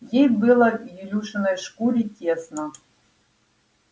ей было в илюшиной шкуре тесно